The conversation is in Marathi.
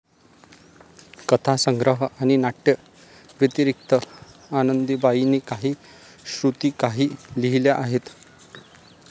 कथासंग्रह आणि नाट्यव्यतिरिक्त आनंदीबाईंनी काही श्रुतिकाही लिहिल्या आहेत.